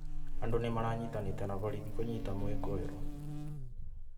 Andũ nĩ maranyitanĩite na borithi kũnyita mũĩkũĩrwo